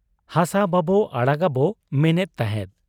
ᱦᱟᱥᱟ ᱵᱟᱵᱚ ᱟᱲᱟᱜᱜᱟᱵᱚ ᱢᱮᱱᱮᱫ ᱛᱟᱦᱮᱸᱫ ᱾